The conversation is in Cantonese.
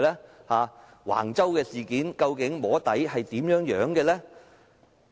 在橫洲事件上，究竟"摸底"是怎樣進行的呢？